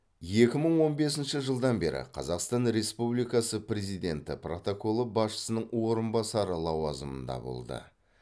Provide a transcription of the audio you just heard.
екі мың он бесінші жылдан бері қазақстан республикасы президенті протоколы басшысының орынбасары лауазымында болды